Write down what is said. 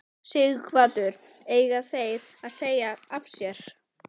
Sighvatur: Eiga þeir að segja af sér?